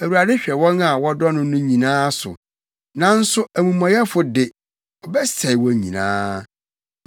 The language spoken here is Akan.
Awurade hwɛ wɔn a wɔdɔ no no nyinaa so, nanso amumɔyɛfo de, ɔbɛsɛe wɔn nyinaa.